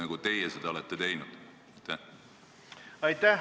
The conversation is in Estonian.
Aitäh!